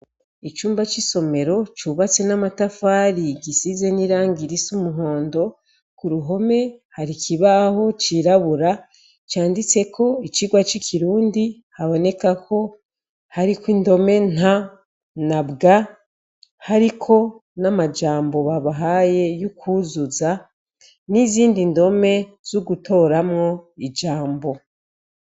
Icumba c'isomero cubatse n'amatafari isize n'irangi risa umuhondo, ku ruhome hari ikibaho cirabura canditseko icigwa c'ikirundi haboneka ko hariko indome nta na bwa, hariko n'amajambo babahaye yo kwuzuza n'izindi ndome zo gutoramwo ijambo.